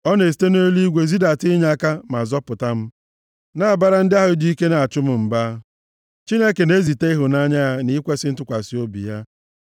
Ọ na-esite nʼeluigwe zidata inyeaka ma zọpụta m na-abara ndị ahụ ji ike na-achụ m mba; Sela Chineke na-ezite ịhụnanya ya na ikwesi ntụkwasị obi ya.